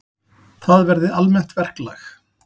Það verði almennt verklag.